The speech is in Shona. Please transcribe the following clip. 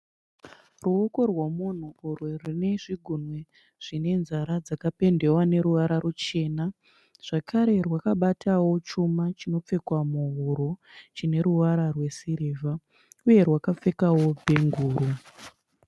Ruoko rwemunhu urwo rwune zvigunwe zvine nzara dzakapendewa neruvara ruchena. Zvakare rwakabatawo chuma chinopfekwa muhuro chine ruvara rwesirivha uye rwakapfekawo bhenguro